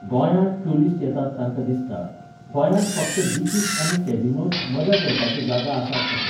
गोंयांत टुरिस्ट येतात तांकां दिसता, गोंयांत फक्त बिचीस आनी कॅझिनोच मजा करपाच्यो जागा आसात अशें.